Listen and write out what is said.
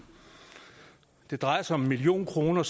det drejer sig om en million kroner